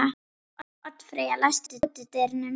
Oddfreyja, læstu útidyrunum.